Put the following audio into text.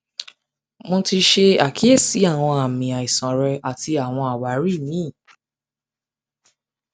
mo ti ṣe mo ti ṣe akiyesi awọn aami aisan rẹ ati awọn awari mri